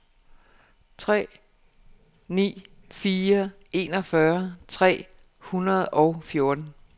fire tre ni fire enogfyrre tre hundrede og fjorten